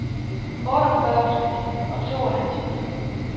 otteogfyrre tusind og tooghalvtreds